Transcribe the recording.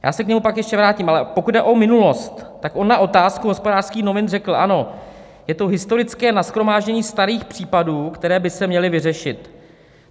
Já se k němu pak ještě vrátím, ale pokud jde o minulost, tak on na otázku Hospodářských novin řekl: "Ano, je to historické nashromáždění starých případů, které by se měly vyřešit.